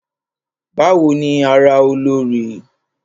Bawo ni ara Olorì?